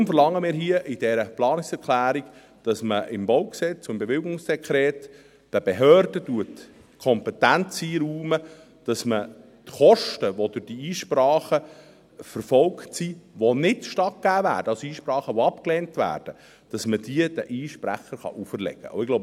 Deshalb verlangen wir in dieser Planungserklärung, dass man im Baugesetz (BauG) und im Dekret über das Baubewilligungsverfahren (Bewilligungsdekret, BewD) den Behörden die Kompetenz einräumt, dass man die Kosten, welche durch diese Einsprache verfolgt werden und nicht stattgegeben werden – also Einsprachen, welche abgelehnt werden –, den Einsprechern auferlegt werden können.